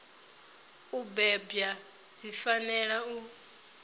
u bebwa dzi fanela u